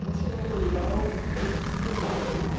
Quando chegou no colegial, isso se quebrou um pouco.